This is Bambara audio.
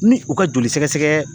Ni u ka joli sɛgɛsɛgɛ